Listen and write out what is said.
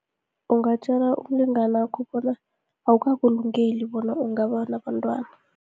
Ungatjela umlingani wakho bona, awukakulungeli bona ungaba nabantwana.